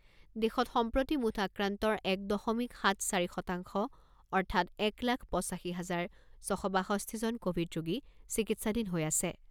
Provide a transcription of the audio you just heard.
দেশত সম্প্ৰতি মুঠ আক্ৰান্তৰ এক দশমিক সাত চাৰি শতাংশ অৰ্থাৎ এক লাখ পঁচাশী হাজাৰ ছশ বাষষ্ঠি জন ক’ভিড ৰোগী চিকিৎসাধীন হৈ আছে।